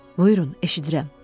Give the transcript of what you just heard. Buyurun, eşidirəm.